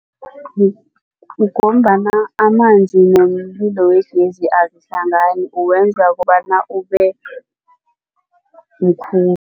Ngombana amanzi nomlilo wegezi azihlangani uwenza kobana